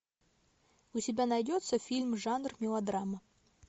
у тебя найдется фильм жанр мелодрама